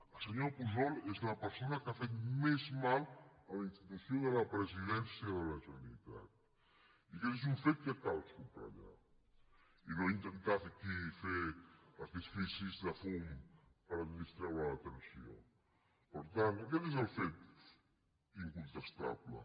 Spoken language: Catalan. el senyor pujol és la persona que ha fet més mal a la institució de la presidència de la generalitat i aquest és un fet que cal subratllar i no intentar fer aquí artificis de fum per distreure l’atenció per tant aquest és el fet incontestable